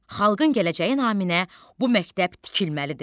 Xalqın gələcəyi naminə bu məktəb tikilməlidir.